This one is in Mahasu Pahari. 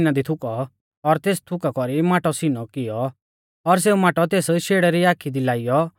इणौ बोलीयौ तिणीऐ ज़मीना दी थुकौ और तेस थुका कौरी माटौ सीनौ किऔ और सेऊ माटौ तेस शेड़ै री आखी दी लाइऔ